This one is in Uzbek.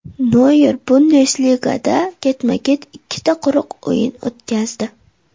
Noyer Bundesligada ketma-ket ikkita quruq o‘yin o‘tkazdi.